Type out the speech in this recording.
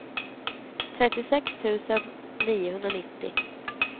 trettiosex tusen niohundranittio